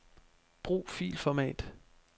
Brug filformat.